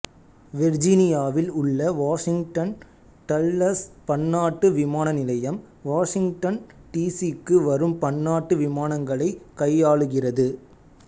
வெர்ஜீனியாவில் உள்ள Washington Dulles பன்னாட்டு விமான நிலையம் வாசிங்டன் டி சி க்கு வரும் பன்னாட்டு விமானங்களை கையாளுகிறது